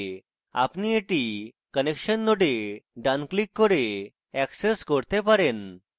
আপনি এটি connection node ডান ক্লিক করে অ্যাক্সেস করতে পারেন